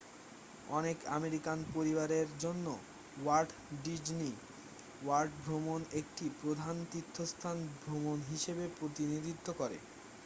অনেক আমেরিকান পরিবারের জন্য ওয়াল্ট ডিজনি ওয়ার্ল্ড ভ্রমণ একটি প্রধান তীর্থস্থান ভ্রমণ হিসেবে প্রতিনিধিত্ব করে